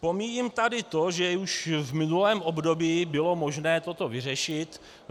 Pomíjím tady to, že už v minulém období bylo možné toto vyřešit.